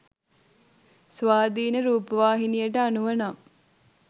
ස්වාධීන රූපවාහිනියට අනුව නම්